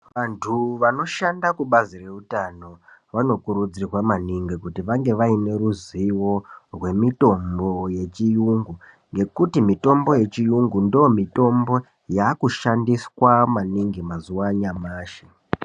Vantu vanoshanda kubazi reutano vanokurudzirwa maningi kuti vange vaine ruzivo rwemitombo yechiyungu. Ngekuti mitombo yechiyungu ndoo mitombo yakushandiswa maningi mazuva anyamashi.